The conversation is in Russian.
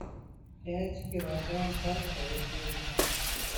пять килограмм картофеля